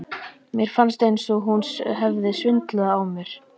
Mér fannst eins og hún hefði svindlað á mér.